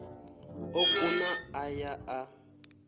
o kuna a ya a